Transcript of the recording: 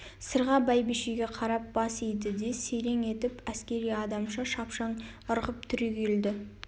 сырға бәйбішеге қарап бас иді де серең етіп әскери адамша шапшаң ырғып түрегелді